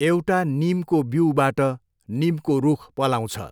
एउटा निमको बिऊबाट निमको रुख पलाउँछ।